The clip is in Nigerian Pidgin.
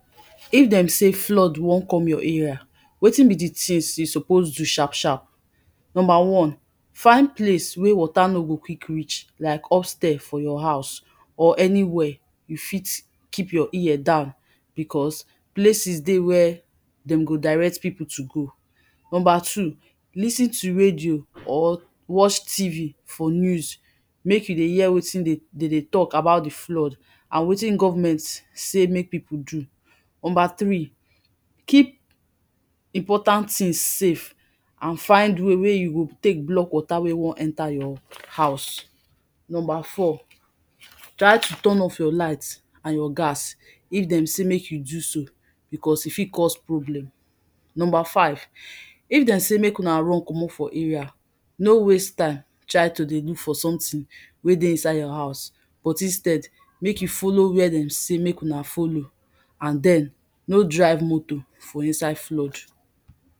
If dem sey flood wan come your area, wetin be di tins you suppose do sharp sharp. Number one, find place wey water no go quick reach like upstairs for your house or anywhere you fit keep your ear down becos places dey where dem go direct pipu to go. Number two, lis ten to radio or watch TV for news make you dey hear wetin dem dey talk about di flood and wetin government say make pipu do. Number three, keep important tins safe and find way wey you go take block water wey wan enter your house. Number four, try to turn off your light and your gas if dem say make you do so becos e fit cos problem. Number five, if dem say make una run comot for area no waste time try to dey look for something wey dey inside your house but instead make you follow wey dem say make una follow and den no drive motor for inside flood.